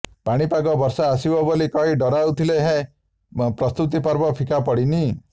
ପାଣିପାଗ ବର୍ଷା ଆସିବ ବୋଲି କହି ଡରାଉଥିଲେ ହେଁ ପ୍ରସ୍ତୁତି ପର୍ବ ଫିକା ପଡ଼ିନି